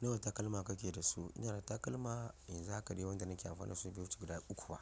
Nawa takalma kake da su? Ina da takalma yanzu haka ɗai wanda nake amfani dasu bai wuce guda uku ba,